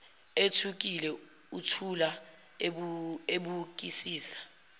ethukile uthula ebukisisa